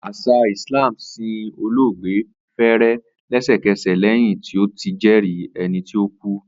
Asa Islam sin oloogbe fere lesekese lẹhin ti o ti jẹri ẹni ti o ku.